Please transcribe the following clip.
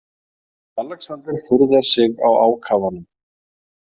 Alexander furðar sig á ákafanum.